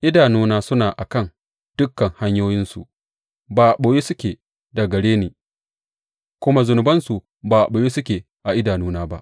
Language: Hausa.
Idanuna suna a kan dukan hanyoyinsu; ba a ɓoye suke daga gare ni, kuma zunubansu ba a ɓoye suke a idanuna ba.